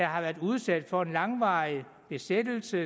har været udsat for en langvarig besættelse